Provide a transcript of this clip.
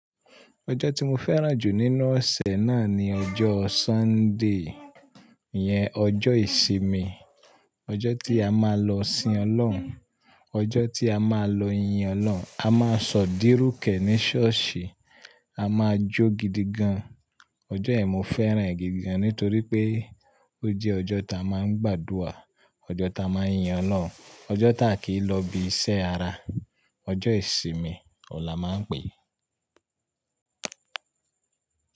Ọjọ́ tí mo fẹ́ràn jù nínú ọ̀sẹ̀ náà ni ọjọ́ Sunday, ìyẹn ọjọ́ ìsinmi, ọjọ́ tí a máa lọ sìn Ọlọ́run, ọjọ́ tí a máa lọ yin Ọlọ́run. A máa sọ̀dírúkẹ̀ ní ṣọ́ọ̀ṣì, a máa jó gidi gan. Ọjọ́ yẹn mo fẹ́ràn rẹ̀ gidi gan nítorí pé ó jẹ́ ọjọ́ ta máa ń gbàdúrà, ọjọ́ ta máa ń yin Ọlọ́run, ọjọ́ ta kìí lọ ibi iṣẹ́ ara. Ọjọ́ ìsinmi ọ̀la máa ń pè é.